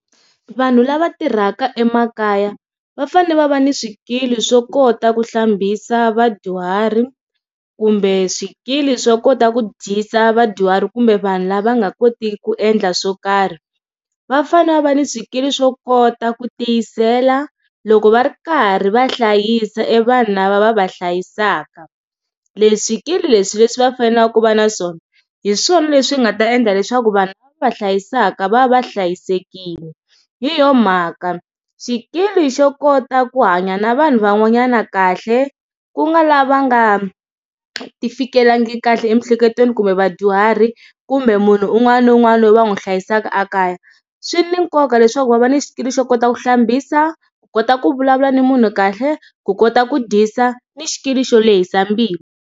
Vanhu lava tirhaka emakaya va fane va va ni swikili swo kota ku hlambisa vadyuhari kumbe swikili swo kota ku dyisa vadyuhari kumbe vanhu lava nga koti ku endla swo karhi va fane va va ni swikili swo kota ku tiyisela loko va ri karhi va hlayisa e vanhu lava va va hlayisaka. Leswi swikili leswi leswi va fanelaka ku va swona hi swona leswi nga ta endla leswaku vanhu va hlayisaka va va va hlayisekile hi yona mhaka xikili xo kota ku hanya na vanhu van'wanyana kahle ku nga lava nga ti fikelengi kahle emiehleketweni kumbe vadyuhari kumbe munhu un'wana na un'wana loyi va n'wi hlayisaka ekaya swi ni nkoka leswaku va va ni xikili xo kota ku hlambisa ku kota ku vulavula na munhu kahle ku kota ku dyisa ni xikili xo lehisa mbilu.